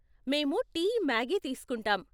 మేము tea, Maggi తీస్కుంటాం.